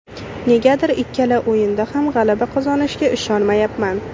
Negadir ikkala o‘yinda ham g‘alaba qozonishimizga ishonyapman.